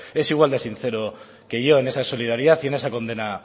es igual de sincero que yo en esa solidaridad y en ese condena